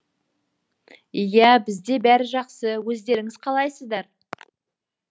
иә бізде бәрі жақсы өздеріңіз қалайсыздар